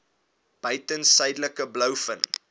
buiten suidelike blouvin